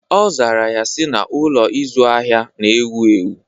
Ọ zara ya si, na Ụlọ ịzụ ahịa na-ewu ewu